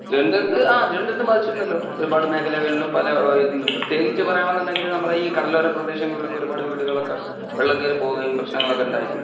തിരുവനന്തപുരത്ത് ഹാ തിരുവനന്തപുരത്തും ബാധിച്ചിരുന്നല്ലോ.ഒരുപാട് മേഖലകളിലും പല പ്രത്യേകിച്ച് പറയണം എന്നുണ്ടെങ്കിൽ നമ്മുടെ ഈ കടലോര പ്രദേശങ്ങളിൽ ഒക്കെ ഒരു പാട് വീടുകൾ ഒക്കെ വെള്ളം കയറി പോകുകയും പ്രശനങ്ങൾ ഒക്കെ ഉണ്ടായിട്ട് ഉണ്ടായിരുന്നു